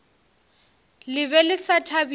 le be le sa thabile